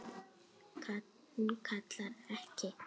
Hún kallar ekki